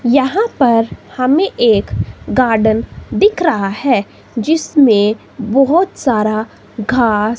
यहां पर हमें एक गार्डन दिख रहा है जिसमें बहोत सारा घास--